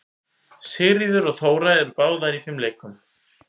Sigríður og Þóra eru báðar í fimleikum.